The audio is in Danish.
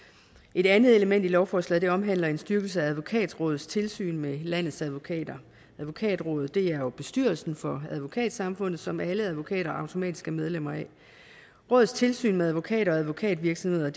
et andet element i lovforslaget omhandler en styrkelse af advokatrådets tilsyn med landets advokater advokatrådet er er bestyrelsen for advokatsamfundet som alle advokater automatisk er medlemmer af rådets tilsyn med advokater og advokatvirksomheder